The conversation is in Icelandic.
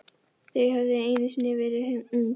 Þau höfðu einu sinni verið ung.